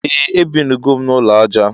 Ee ebinugom na ulọ aja